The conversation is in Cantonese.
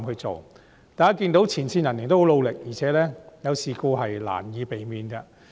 大家也看到前線人員十分努力，而且事故是難以避免的。